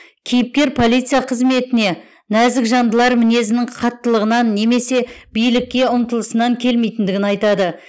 кейіпкер полиция қызметіне нәзік жандылар мінезінің қаттылығынан немесе билікке ұмтылысынан келмейтіндігін айтады